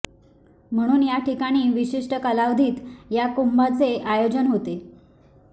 म्हणून या ठिकाणी विशिष्ट कालावधीत या कुंभांचे आयोजन होते